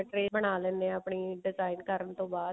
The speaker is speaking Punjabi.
ਸਹੀ ਬਣਾ ਲੈਣੇ ਹਾਂ ਆਪਣੀ design ਕਰਨ ਤੋਂ ਬਾਅਦ